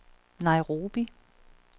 Nairobi